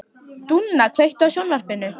Dúnna, kveiktu á sjónvarpinu.